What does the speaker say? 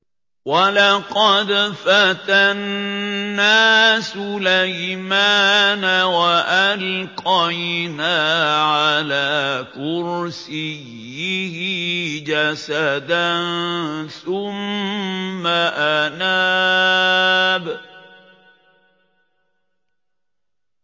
وَلَقَدْ فَتَنَّا سُلَيْمَانَ وَأَلْقَيْنَا عَلَىٰ كُرْسِيِّهِ جَسَدًا ثُمَّ أَنَابَ